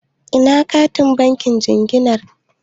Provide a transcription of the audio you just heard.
Ina katin bankin jinginar?